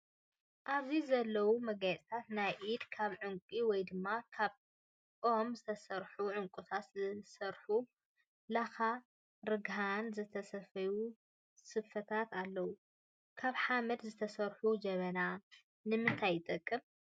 ኣብዚ ዘለው መጋየፅታት ናይ ኢድ ካብ ዕንቁ ወይ ድማ ካብ ኦም ዝተሰርሑ ዑንቁታት ዝተሰርሑ ላካን ርግሀን ዝተሰፈዩ ስፈታት ኣለው። ካብ ሓመድ ዝተሰረሑ ጀበና ንምታይ ይጠቅም ?